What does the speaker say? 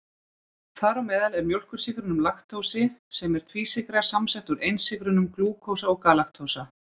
Þar á meðal er mjólkursykurinn laktósi sem er tvísykra samsett úr einsykrunum glúkósa og galaktósa.